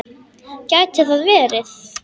Gæti það verið?